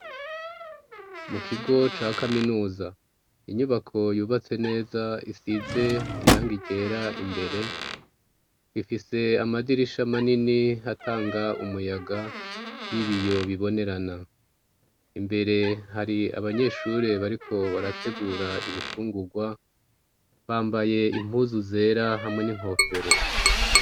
Mu kigo ca kaminuza. Inyubako yubatse neza isize irangi ryera imbere, ifise amadirisha manini atanga umuyaga, y'ibiyo bibonerana. Imbere hari abanyeshure bariko barategura ibifungurwa, bambaye impuzu zera hamwe n'inkofero.